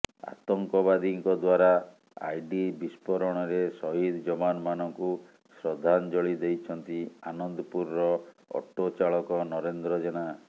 ଆତଙ୍କବାଦୀଙ୍କ ଦ୍ୱାରା ଆଇଡି ବିସ୍ଫୋରଣରେ ସହିଦ ଯବାନମାନଙ୍କୁ ଶ୍ରଦ୍ଧାଞ୍ଜଳି ଦେଇଛନ୍ତି ଆନନ୍ଦପୁରର ଅଟୋ ଚାଳକ ନରେନ୍ଦ୍ର ଜେନା